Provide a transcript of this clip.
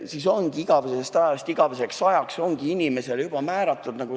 Siis ongi igavesest ajast igaveseks ajaks inimesele see koht juba määratud.